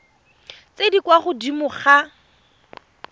tse di kwa godimo ga